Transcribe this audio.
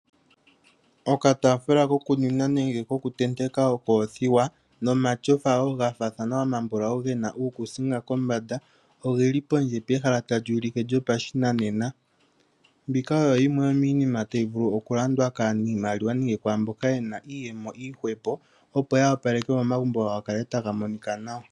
Okataafula koku nwina nenge koku tendeka okoothiwa nomatyofa wo gafaana gena uukuusinga uumbulawu ogeli pondje pehala lyoshinanena opo gavule oku landwa kwaamboka haya mono iiyemo yili nawa yavule oku wapaleka omahala gawo ga kale taga monika nawa.